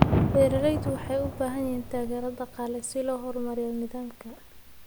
Beeraleydu waxay u baahan yihiin taageero dhaqaale si loo horumariyo nidaamka.